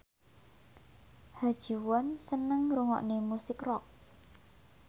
Ha Ji Won seneng ngrungokne musik rock